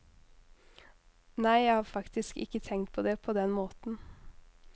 Nei, jeg har faktisk ikke tenkt på det på den måten.